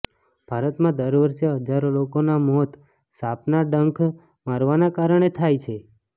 ભારતમાં દર વર્ષે હજારો લોકોના મોત સાપના ડંખ મારવાના કારણે થાય છે